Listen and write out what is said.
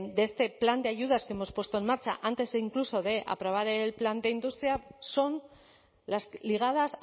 de este plan de ayudas que hemos puesto en marcha antes incluso de aprobar el plan de industria son las ligadas